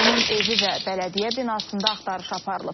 Onun evi və bələdiyyə binasında axtarış aparılıb.